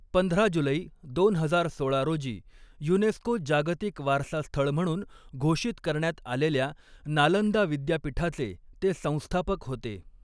पंधरा जुलै दोन हजार सोळा रोजी युनेस्को जागतिक वारसा स्थळ म्हणून घोषित करण्यात आलेल्या नालंदा विद्यापीठाचे ते संस्थापक होते.